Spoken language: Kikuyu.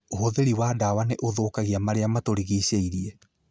Ũhũthĩri wa dawa nĩ ũthũkagia marĩa matũrigicĩirie